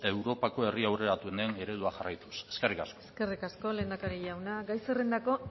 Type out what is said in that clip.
europako herri aurreratuenen eredua jarraituz eskerrik asko eskerrik asko lehendakari jauna gai zerrendako